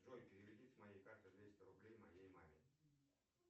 джой переведи с моей карты двести рублей моей маме